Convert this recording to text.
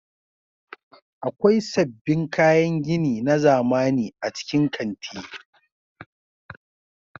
Akwai sabbin kayan gini na zamani a cikin kanti.